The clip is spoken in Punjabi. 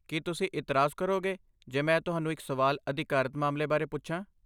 ਕੀ ਤੁਸੀਂ ਇਤਰਾਜ਼ ਕਰੋਗੇ ਜੇ ਮੈਂ ਤੁਹਾਨੂੰ ਇੱਕ ਸਵਾਲ ਅਧਿਕਾਰਤ ਮਾਮਲੇ ਬਾਰੇ ਪੁੱਛਾਂ?